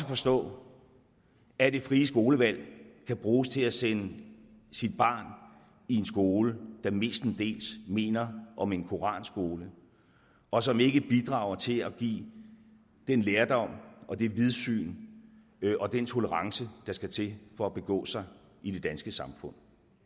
forstå at det frie skolevalg kan bruges til at sende sit barn i en skole der mestendels minder om en koranskole og som ikke bidrager til at give den lærdom og det vidsyn og den tolerance der skal til for at begå sig i det danske samfund